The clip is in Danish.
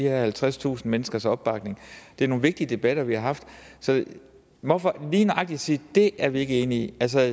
halvtredstusind menneskers opbakning det er nogle vigtige debatter vi har haft så hvorfor lige nøjagtig sige dét er vi ikke enige i altså